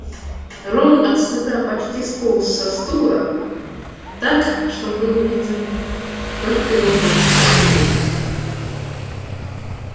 рон от стыда почти сполз со стула так что был виден только его пунцовый лоб